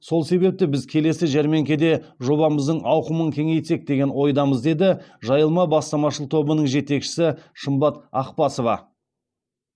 сол себепті біз келесі жәрмеңкеде жобамыздың ауқымын кеңейтсек деген ойдамыз деді жайылма бастамашыл тобының жетекшісі шымбат ақбасова